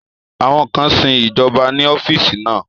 Àwọn kan sin ìjọba ní ọ́fíìsì náà